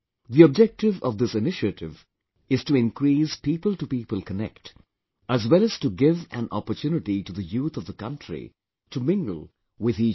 The objective of this initiative is to increase People to People Connect as well as to give an opportunity to the youth of the country to mingle with each other